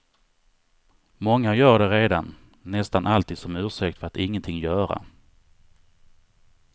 Många gör det redan, nästan alltid som ursäkt för att ingenting göra.